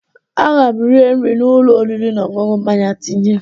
Aga m rie nri n'ụlọ oriri na ọṅụṅụ mama tinye